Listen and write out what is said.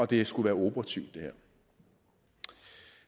det skulle være operativt